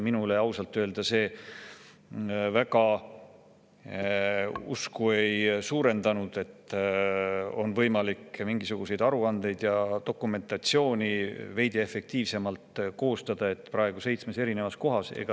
Minus see ausalt öeldes usku väga ei suurendanud, et mingisuguseid aruandeid ja dokumentatsiooni, mis praegu on seitsmes eri kohas, on võimalik koostada veidi efektiivsemalt.